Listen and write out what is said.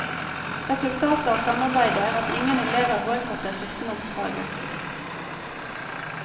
Resultatet av samarbeidet er at ingen elever boikotter kristendomsfaget.